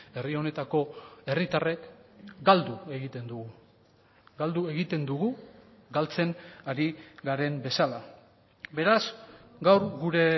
herri honetako herritarrek galdu egiten dugu galdu egiten dugu galtzen ari garen bezala beraz gaur gure